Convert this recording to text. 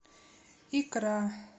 икра